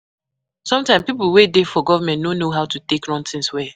Sometimes pipo wey dey for government no know how to take run things well